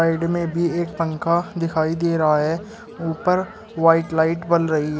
Side में भी एक पंखा दिखाई दे रहा है ऊपर व्हाइट लाइट बल रही है।